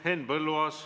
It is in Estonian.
Henn Põlluaas!